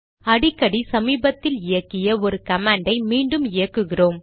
அடிக்கடி சமீபத்தில் இயக்கிய ஒரு கமாண்டை மீண்டும் இயக்குகிறோம்